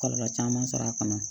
Kɔlɔlɔ caman sɔrɔ a kɔnɔ